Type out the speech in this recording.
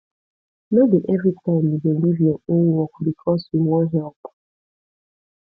no be every time you go leave your own work because you wan help